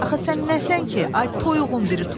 Axı sən nəsən ki, ay toyuğun biri toyuq?